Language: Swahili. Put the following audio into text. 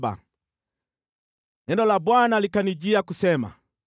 Neno la Bwana likanijia kusema: